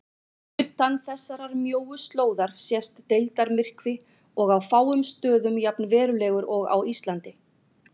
Utan þessarar mjóu slóðar sést deildarmyrkvi og á fáum stöðum jafn verulegur og á Íslandi.